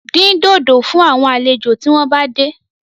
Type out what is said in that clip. Dín dòdò fún àwọn àlejò tí wọ́n bá dé